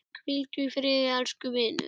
Hvíldu í friði elsku vinur.